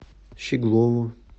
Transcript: щеглову